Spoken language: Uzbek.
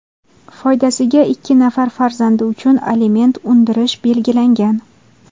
foydasiga ikki nafar farzandi uchun aliment undirish belgilangan.